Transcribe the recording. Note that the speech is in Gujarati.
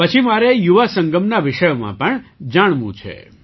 પછી મારે યુવા સંગમના વિષયમાં પણ જાણવું છે